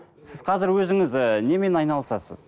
сіз қазір өзіңіз і немен айналысасыз